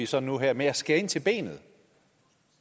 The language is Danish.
så nu og her med at skære ind til benet